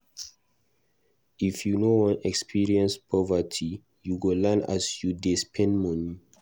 If you no wan experience poverty, you go learn as you go dey spend moni.